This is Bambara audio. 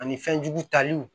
Ani fɛnjugu taliw